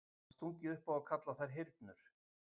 Var stungið upp á að kalla þær hyrnur.